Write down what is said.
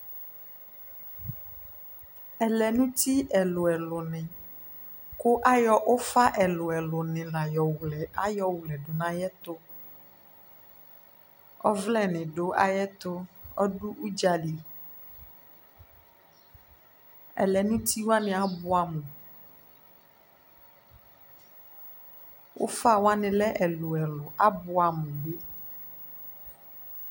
Ɛlɛnu uti ɛlu ɛlu ni ku ayɔ ufaɛlu ɛlu ayɔɣlɛ nu ayuti ɔvlɛ ɛlu ɛlu du ayɛtu kɔdu udzali ɛlɛnu uti wa abuɛ amu ufa wani ɛlu ɛlu abʊɛ amu